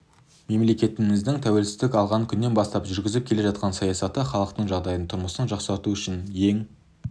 мемлекетіміздің тәуелсіздік алған күннен бастап жүргізіп келе жатқан саясаты халықтың жағдайын тұрмысын жақсарту адам үшін ең